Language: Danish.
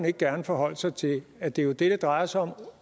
ikke gerne forholde sig til at det jo er det det drejer sig om